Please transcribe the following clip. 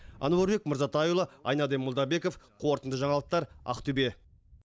әнуарбек мырзатайұлы айнаддин молдабеков қорытынды жаңалықтар ақтөбе